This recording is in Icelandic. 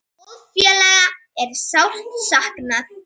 Góðs félaga er sárt saknað.